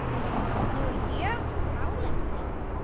Við vorum mjög nálægt því.